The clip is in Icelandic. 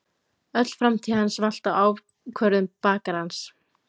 Öll framtíð hans valt á ákvörðun bakarans.